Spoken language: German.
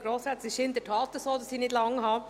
Es ist in der Tat so, dass ich nicht lange rede.